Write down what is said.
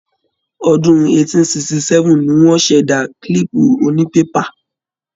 Ọdún 1867 ní wọ́n ṣẹ̀dá kílìpù onípépà.